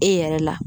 E yɛrɛ la